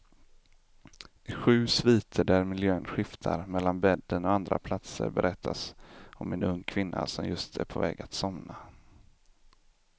I sju sviter där miljön skiftar mellan bädden och andra platser berättas om en ung kvinna som just är på väg att somna.